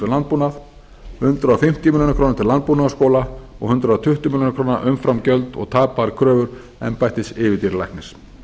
landbúnað hundrað fimmtíu milljónir króna til landbúnaðarskóla og hundrað tuttugu milljónir króna umframgjöld og tapaðar kröfur embættis yfirdýralæknis